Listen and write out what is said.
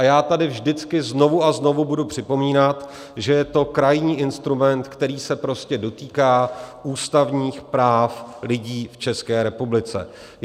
A já tady vždycky znovu a znovu budu připomínat, že je to krajní instrument, který se prostě dotýká ústavních práv lidí v České republice.